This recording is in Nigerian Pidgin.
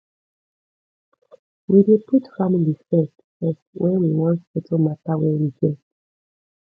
we dey put family first first wen we wan settle mata wey we get